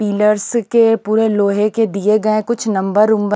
pillars के पूरे लोहे के दिए गए कुछ नंबर वंबर --